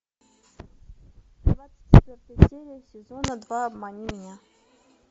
двадцать четвертая серия сезона два обмани меня